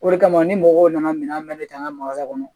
O de kama ni mɔgɔw nana minɛn mɛn ne ta ka magan kɔnɔ